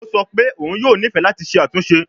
O sọ pe oun yoo nifẹ lati ṣe atunṣe